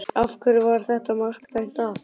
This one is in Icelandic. Af hverju var þetta mark dæmt af?